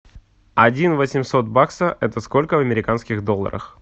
один восемьсот бакса это сколько в американских долларах